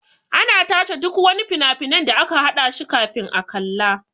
Ana tace duk wani fina-finai da aka haɗa shi kafin a kalla.